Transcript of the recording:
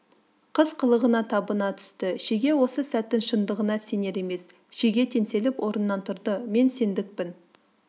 қыз қылығына табына түсті шеге осы сәттің шындығына сенер емес шеге теңселіп орнынан тұрды мен сендікпін